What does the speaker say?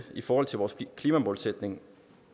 i forhold til vores klimamålsætning